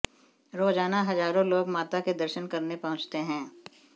रोजाना हजारों लोग माता के दर्शन करने पहुंचते हैं